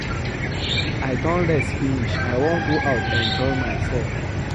I don rest finish I wan go out enjoy myself